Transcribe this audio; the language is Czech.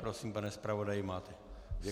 Prosím, pane zpravodaji, máte slovo.